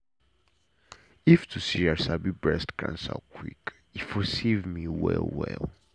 if to say i sabi breast cancer quick e for save me well well